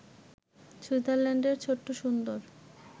সুইজারল্যান্ডের ছোট্ট সুন্দর